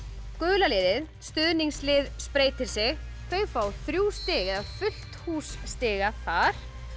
gula liðið stuðningslið spreytir sig þau fá þrjú stig eða fullt hús stiga þar